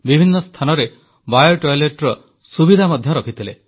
ବିଭିନ୍ନ ସ୍ଥାନରେ ଜୈବ ଶୌଚାଳୟର ସୁବିଧା ମଧ୍ୟ ରଖିଥିଲେ